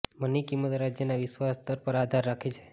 money કિંમત રાજ્યના વિશ્વાસ સ્તર પર આધાર રાખે છે